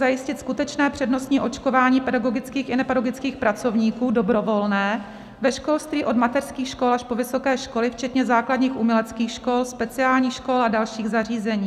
Zajistit skutečné přednostní očkování pedagogických i nepedagogických pracovníků, dobrovolné, ve školství od mateřských škol až po vysoké školy včetně základních uměleckých škol, speciálních škol a dalších zařízení.